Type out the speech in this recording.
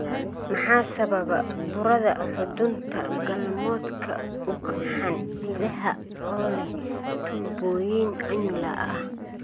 Maxaa sababa burada xudunta galmoodka ugxan-sidaha oo leh tuubooyin annular ah?